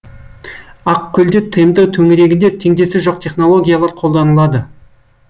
ақкөлде тмд төңірегінде теңдесі жоқ технологиялар қолданылды